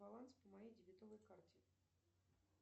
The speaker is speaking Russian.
баланс по моей дебетовой карте